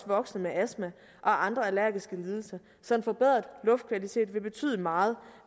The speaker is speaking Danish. voksne med astma og andre allergiske lidelser så en forbedret luftkvalitet vil betyde meget